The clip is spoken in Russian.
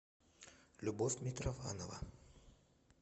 любовь митрофанова